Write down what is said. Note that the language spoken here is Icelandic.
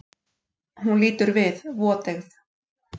Hún lítur við, voteygð.